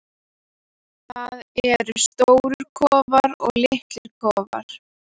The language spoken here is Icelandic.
Það eru stórir kofar og litlir kofar.